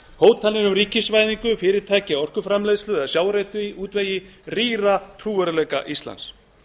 hótanir um ríkisvæðingu fyrirtækja í orkuframleiðslu eða sjávarútvegi rýra trúverðugleika íslands